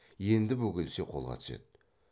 енді бөгелсе қолға түседі